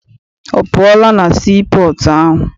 Ọ pụọla na sii pọọtụ ahụ?